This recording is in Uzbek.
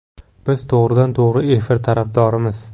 Biz to‘g‘ridan-to‘g‘ri efir tarafdorimiz.